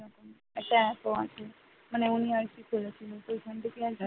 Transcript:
একটা app আছে। মানে উনি আর কি খুলেছিল সেইখান থেকেই আর কি